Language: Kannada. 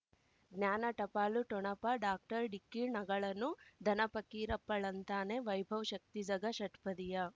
ಜ್ಞಾನ ಟಪಾಲು ಠೊಣಪ ಡಾಕ್ಟರ್ ಢಿಕ್ಕಿ ಣಗಳನು ಧನ ಫಕೀರಪ್ಪ ಳಂತಾನೆ ವೈಭವ್ ಶಕ್ತಿ ಝಗಾ ಷಟ್ಪದಿಯ